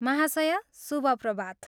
महाशया, शुभ प्रभात।